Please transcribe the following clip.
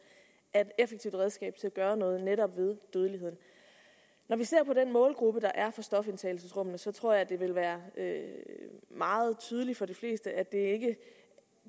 er et effektivt redskab til at gøre noget ved netop dødeligheden når vi ser på den målgruppe der er for stofindtagelsesrummene tror jeg det vil være meget tydeligt for de fleste at det ikke